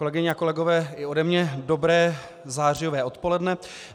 Kolegyně a kolegové, i ode mě dobré zářijové odpoledne.